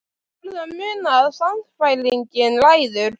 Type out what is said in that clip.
Þú verður að muna að sannfæringin ræður.